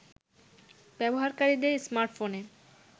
ব্যবহারকারীদের স্মার্টফোনে